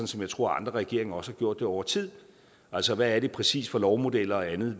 som jeg tror andre regeringer også har gjort det over tid altså hvad det præcis er for lovmodeller og andet